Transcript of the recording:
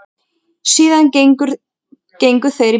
Síðan gengu þeir burt.